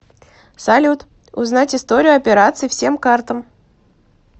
салют узнать историю операций всем картам